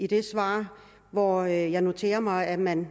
det svar hvor jeg noterer mig at man